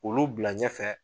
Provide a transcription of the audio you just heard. Olu bila ɲɛfɛ